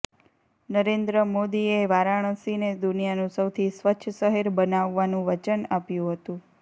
નરેન્દ્ર મોદીએ વારાણસીને દુનિયાનું સૌથી સ્વચ્છ શહેર બનાવવાનું વચન આપ્યું હતું